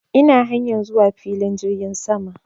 Ina hanyar zuwa filin jirgin sama